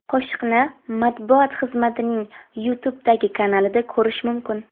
Qo‘shiqni matbuot xizmatining YouTube’dagi kanalida ko‘rish mumkin .